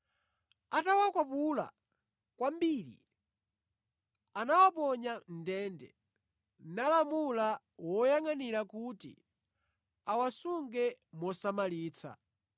Atawakwapula kwambiri anawaponya mʼndende, nalamula woyangʼanira kuti awasunge mosamalitsa.